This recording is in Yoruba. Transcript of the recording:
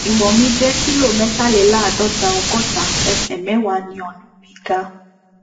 iwọn mi jẹ kilo mẹtàléláàádọta ọgọta ẹsẹ mẹwàá ni ọnà mi ga